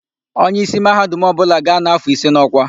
Onyeísí Mahadum ọbụla ga-anọ áfọ̀ ise n'ọ́kwá.